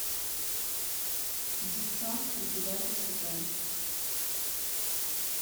деффчонки девятый сезон